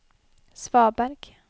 svaberg